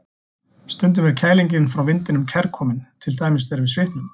Stundum er kælingin frá vindinum kærkomin, til dæmis þegar við svitnum.